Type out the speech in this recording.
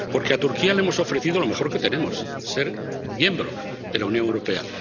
Porque a Turquía le hemos ofrecido lo mejor que tenemos ser miembro de la Unión Europea.